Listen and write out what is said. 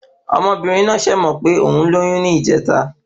Ọmọbìnrin náà sẹ̀ mọ̀ pé òún lóyún ní ìjèta